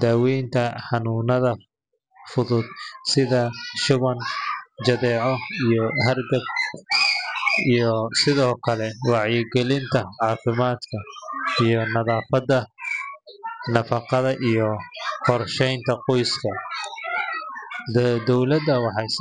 daaweynta xanuunnada fudud sida shuban, jadeeco, iyo hargab, iyo sidoo kale wacyigelinta caafimaadka sida nadaafadda, nafaqada, iyo qorsheynta qoyska. Dowladdu waxay sidoo .